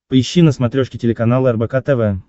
поищи на смотрешке телеканал рбк тв